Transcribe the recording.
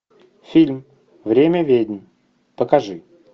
фильм время ведьм покажи